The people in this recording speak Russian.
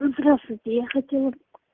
здравствуйте я хотела